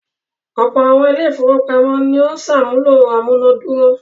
Ọ̀pọ̀ àwọn ilé-ìfowópamọ́sí ni ó ń ṣàmúlò amúná dúró.